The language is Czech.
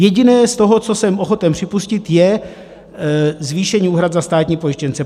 Jediné z toho, co jsem ochoten připustit, je zvýšení úhrad za státní pojištěnce.